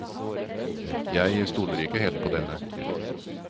Jeg stoler ikke helt på denne.